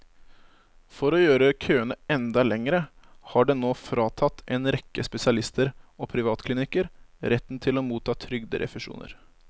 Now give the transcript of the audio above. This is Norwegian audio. For å gjøre køene enda lengre har den nå fratatt en rekke spesialister og privatklinikker retten til å motta trygderefusjoner.